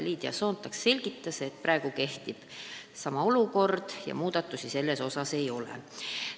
Liidia Soontak selgitas, et praegu kehtib sama regulatsioon ja muudatusi kavas ei ole.